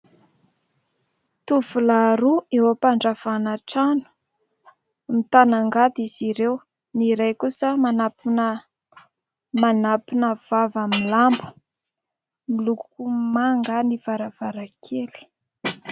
Tovolahy roa eo am-pandravana trano. Mitana angady izy ireo, ny iray kosa manampina vava amin'ny lamba, miloko manga ny varavarankely.